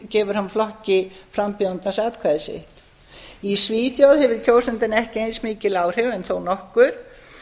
gefur hann flokki frambjóðandans atkvæði sitt í svíþjóð hefur kjósandinn ekki eins mikil áhrif en þó nokkur